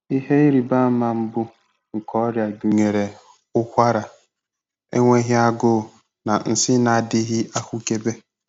Ihe ịrịba ama mbụ nke ọrịa gụnyere ụkwara, enweghị agụụ, na nsị na-adịghị ahụkebe.